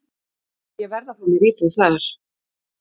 Ég verð að fá mér íbúð þar.